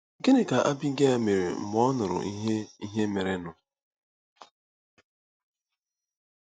Gịnị ka Abigel mere mgbe ọ nụrụ ihe ihe merenụ?